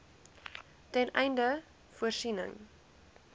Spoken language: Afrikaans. ten einde voorsiening